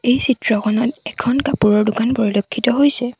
এই চিত্ৰখনত এখন কাপোৰৰ দোকান পৰিলক্ষিত হৈছে।